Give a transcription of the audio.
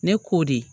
Ne k'o de